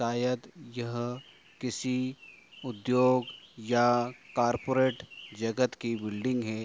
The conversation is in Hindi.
शायद यह किसी उद्योग या कॉर्पोरेट जगत की बिल्डिंग है।